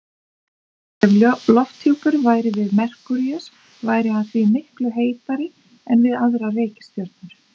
Ef lofthjúpur væri við Merkúríus væri hann því miklu heitari en við aðrar reikistjörnur.